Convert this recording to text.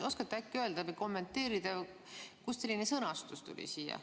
Oskate äkki öelda või kommenteerida, kust tuli siia selline sõnastus?